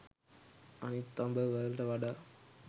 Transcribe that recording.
අනිත් අඹ වලට වඩා